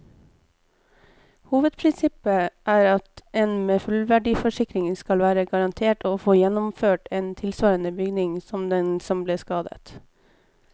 Hovedprinsippet er at med en fullverdiforsikring skal du være garantert å få gjenoppført en tilsvarende bygning som den som ble skadet.